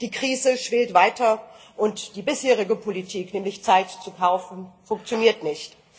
Die Krise schwillt weiter und die bisherige Politik nämlich Zeit zu kaufen funktioniert nicht.